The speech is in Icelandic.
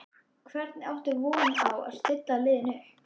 Hvernig áttu von á að stilla liðinu upp?